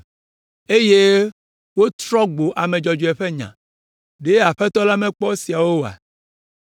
eye wotrɔ gbo ame dzɔdzɔe ƒe nya; ɖe Aƒetɔ la makpɔ esiawo oa?